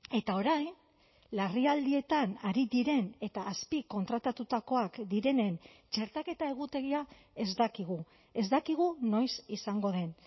eta orain larrialdietan ari diren eta azpikontratatutakoak direnen txertaketa egutegia ez dakigu ez dakigu noiz izango den